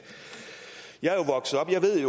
det